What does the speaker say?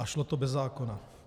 A šlo to bez zákona.